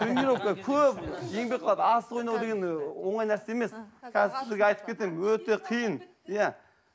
тренировка көп еңбек қылады асық ойнау деген ы оңай нәрсе емес қазір сізге айтып кетемін өте қиын иә